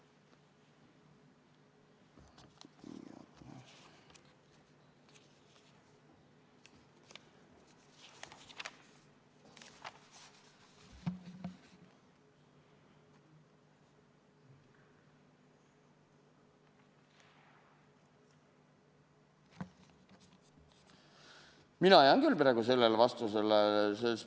Mina jään küll praegu selle vastuse juurde.